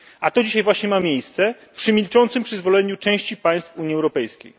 A to dzisiaj właśnie ma miejsce przy milczącym przyzwoleniu części państw Unii Europejskiej.